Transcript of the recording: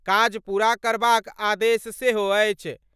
काज पूरा करबाक आदेश सेहो अछि।